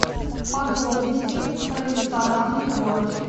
подробности про рестораны в городе